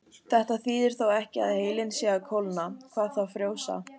Þetta þýðir þó ekki að heilinn sé að kólna, hvað þá frjósa.